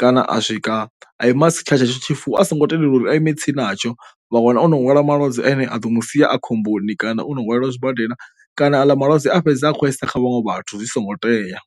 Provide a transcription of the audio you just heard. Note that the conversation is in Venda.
kana a swika a ima si tshavha tsho tshifuwo a songo tendelwa uri a ime ritse natsho vha wana o no lwala malwadze ane a ḓo mu sia a khomboni kana u no hwalwelwa zwibadela kana aḽa malwadze a fhedza a kho a isa kha vhaṅwe vhathu zwi songo tea.